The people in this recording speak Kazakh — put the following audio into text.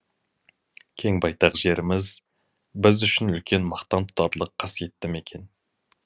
кең байтақ жеріміз біз үшін үлкен мақтан тұтарлық қасиетті мекен